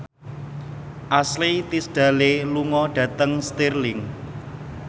Ashley Tisdale lunga dhateng Stirling